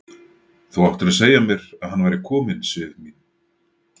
Þú áttir að segja mér að hann væri kominn, Sif mín!